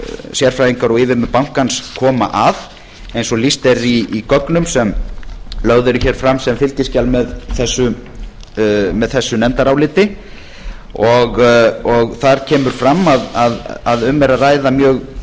sérfræðingar og yfirmenn bankans koma að eins og lýst er í gögnum sem lögð eru hér fram sem fylgiskjal með þessu nefndaráliti þar kemur fram að um er að ræða mjög